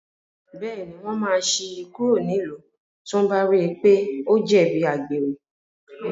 Bẹ́ẹ̀ní, wọ́n máa ṣí i kúrò nílùú tí wọ́n bá rí i pé ó jẹ̀bi àgbèrè.